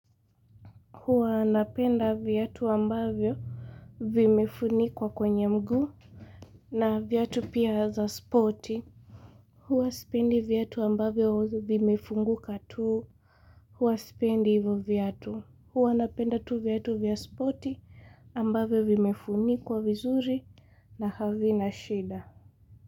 Huwa napenda viatu ambavyo vimefunikwa kwenye mguu na viatu pia za spoti. Huwa sipendi viatu ambavyo hu vimefunguka tu. Huwa sipendi hivyo viatu. Huwa napenda tu viatu vya spoti ambavyo vimefunikwa vizuri na havina shida.